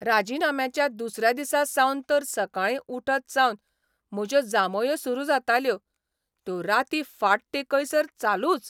राजिनाम्याच्या दुसऱ्या दिसा सावन तर सकाळी उठत सावन म्हज्यो जांभयो सुरू जाताल्यो, त्यो रातीं फाट तेकयसर चालूच.